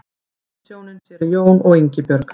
Prestshjónin séra Jón og Ingibjörg